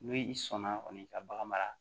N'i sɔnna kɔni ka bagan mara